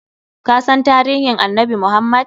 Kasan tarihin annabi Muhammad?